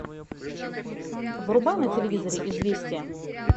врубай на телевизоре известия